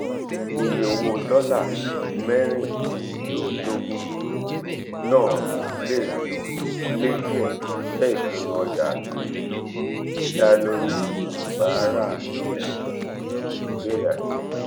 iye owo dola merindinloguno le die jẹ ipinnu ọja ati da lori ibaraenisepo ibeere ati ipese.